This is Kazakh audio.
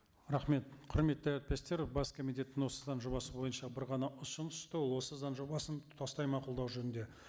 рахмет құрметті әріптестер бас комитеттен осы заң жобасы бойынша бір ғана ұсыныс түсті ол осы заң жобасын тұтастай мақұлдау жөнінде